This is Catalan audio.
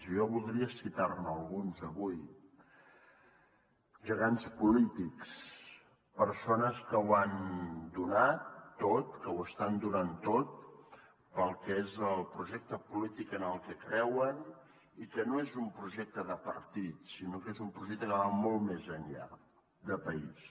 i jo voldria citar ne alguns avui gegants polítics persones que ho han donat tot que ho estan donant tot pel que és el projecte polític en el que creuen i que no és un projecte de partit sinó que és un projecte que va molt més enllà de país